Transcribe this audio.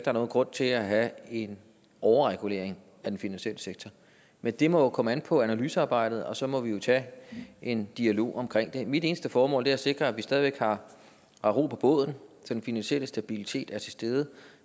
er nogen grund til at have en overregulering af den finansielle sektor men det må jo komme an på analysearbejdet og så må vi tage en dialog om det mit eneste formål er at sikre at vi stadig væk har ro på båden så den finansielle stabilitet er til stede